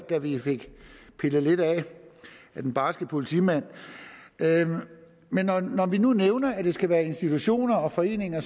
da vi fik pillet lidt af den barske politimand men når vi nu nævner at det skal være institutioner og foreninger